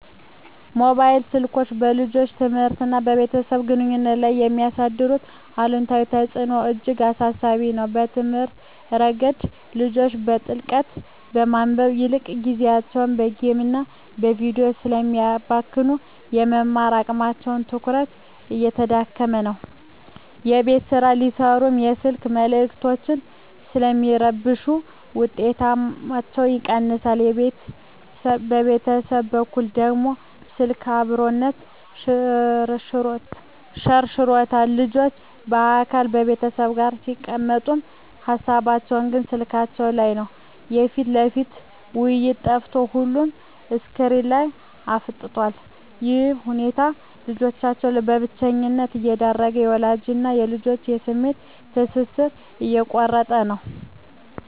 ሞባይል ስልኮች በልጆች ትምህርትና በቤተሰብ ግንኙነት ላይ የሚያሳድሩት አሉታዊ ተጽዕኖ እጅግ አሳሳቢ ነው። በትምህርት ረገድ፣ ልጆች በጥልቀት ከማንበብ ይልቅ ጊዜያቸውን በጌምና በቪዲዮ ስለሚያባክኑ፣ የመማር አቅማቸውና ትኩረታቸው እየተዳከመ ነው። የቤት ሥራ ሲሠሩም የስልክ መልዕክቶች ስለሚረብሹ ውጤታቸው ይቀንሳል። በቤተሰብ በኩል ደግሞ፣ ስልክ "አብሮነትን" ሸርሽሮታል። ልጆች በአካል ከቤተሰብ ጋር ቢቀመጡም፣ ሃሳባቸው ግን ስልካቸው ላይ ነው። የፊት ለፊት ውይይት ጠፍቶ ሁሉም ስክሪን ላይ አፍጥጧል። ይህ ሁኔታ ልጆችን ለብቸኝነት እየዳረገ፣ የወላጅና ልጅን የስሜት ትስስር እየቆረጠው ነው።